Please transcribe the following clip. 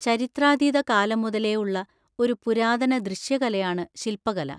ചരിത്രാതീത കാലം മുതലേ ഉള്ള ഒരു പുരാതന ദൃശ്യകലയാണ് ശിൽപ്പകല.